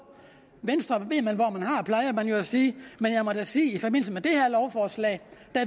venstre ved man hvor man har plejer man jo at sige men jeg må da sige at i forbindelse med det her lovforslag